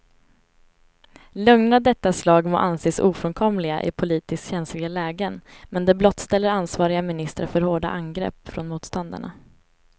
Lögner av detta slag må anses ofrånkomliga i politiskt känsliga lägen, men de blottställer ansvariga ministrar för hårda angrepp från motståndarna.